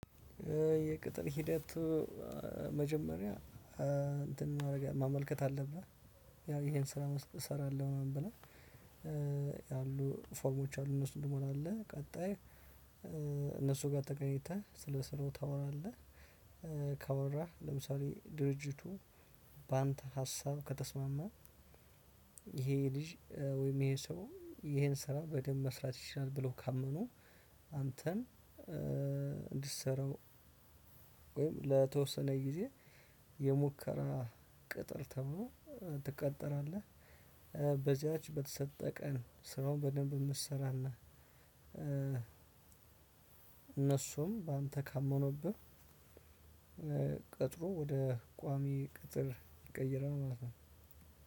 የቅጥር ሂደቱ መጀመሪያ እንትን ማመልከት አለብህ። ያው ይሄን ስራ እሰራለሁ ምናምን ብለን ያሉ ፎርሞች አሉ እነሱን ትሞላለህ ቀጣይ እነሱ ጋር ተገናኝተህ ስለሰራው ታወራለህ። ካወራህ ለምሳሌ ድርጅቱ በአንተ ሀሳብ ከተስማማ ይሄ ልጅ ወይም ይሄ ሰው ይሄን ስራ በደንብ መስራት ይችላል ብሎ ካመኑ አንተን እንድትሰራው ወይም ለተወሰነ ጊዜ የሙከራ ቅጥር ተብሎ ትቀጠራለህ። በዚያች በተሰጠ ቀን ስራውን በደንብ የምትሰራና እነሱም በአንተ ካመነብህ። ቅጥሩ ወደ ቋሚ ቅጥር ይቀየራል ማለት ነው።